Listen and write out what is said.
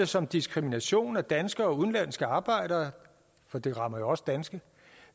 som diskrimination af danske og udenlandske arbejdere for det rammer jo også danske